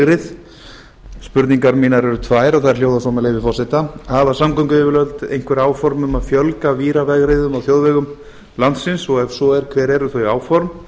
víravegrið spurningar mínar eru tvær og þær hljóða svo með leyfi forseta hafa samgönguyfirvöld einhver áform um að fjölga víravegriðum á þjóðvegum landsins og ef svo er hver eru þau áform